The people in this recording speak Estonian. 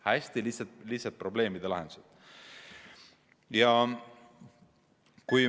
Palun kolm minutit lisaaega!